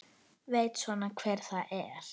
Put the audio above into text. Veit svona hver það er.